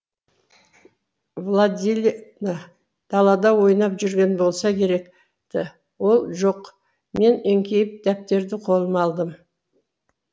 владилена далада ойнап жүрген болса керек ті ол жоқ мен еңкейіп дәптерді қолыма алдым